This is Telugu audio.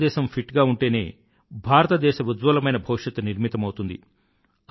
భారతదేశం ఫిట్ గా ఉంటేనే భారతదేశ ఉజ్వలమైన భవిష్యత్తు నిర్మితమౌతుంది